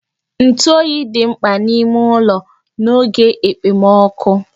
Ntụ oyi dị mkpa n'ime ụlọ n'oge ekpomokụ